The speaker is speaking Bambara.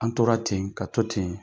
An tora ten ka to ten